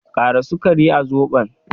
Ƙara sukari a Zobon